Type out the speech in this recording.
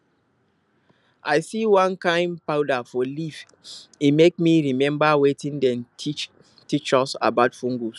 i see one kain powder for leaf e make me remember wetin dem teach teach us about fungus